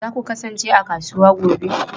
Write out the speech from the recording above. Za ku kasance a kasuwa gobe?